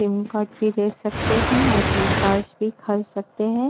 SIM card भी ले सकते हैं और रिचार्ज भी कर सकते हैं।